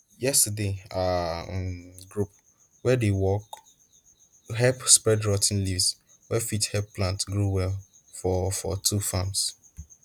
yesterday our um group wey dey work help spread rot ten leaves wey fit help plants grow well for for two farms